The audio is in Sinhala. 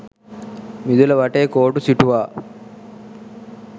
මිදුල වටේ කෝටු සිටුවා